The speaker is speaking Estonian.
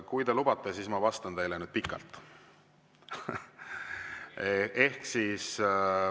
Kui te lubate, siis ma vastan teile nüüd pikalt.